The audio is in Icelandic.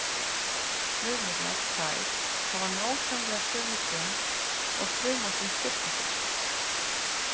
Frumurnar tvær hafa nákvæmlega sömu gen og fruman sem skipti sér.